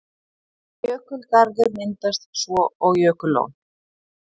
Jökulgarður myndast svo og jökullón.